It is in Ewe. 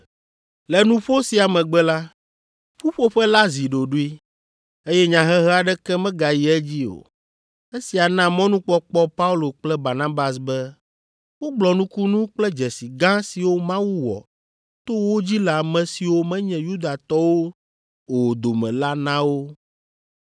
Le nuƒo sia megbe la, ƒuƒoƒe la zi ɖoɖoe, eye nyahehe aɖeke megayi edzi o. Esia na mɔnukpɔkpɔ Paulo kple Barnabas be wogblɔ nukunu kple dzesi gã siwo Mawu wɔ to wo dzi le ame siwo menye Yudatɔwo o dome la na wo.